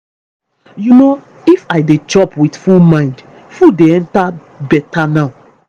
you know if i dey chop with full mind food dey enter better now.